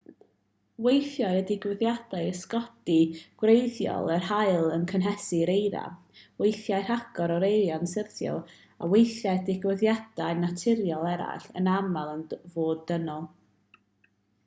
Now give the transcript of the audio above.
weithiau y digwyddiad ysgogi gwreiddiol yw'r haul yn cynhesu'r eira weithiau rhagor o eira'n syrthio weithiau digwyddiadau naturiol eraill yn aml yn fod dynol